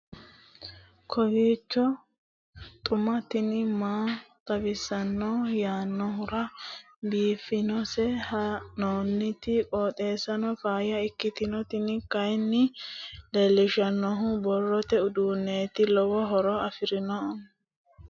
kowiicho xuma mtini maa xawissanno yaannohura biifinse haa'noonniti qooxeessano faayya kultanno tini kayi leellishshannori borrote uduunneeti lowo horo aannonke kuni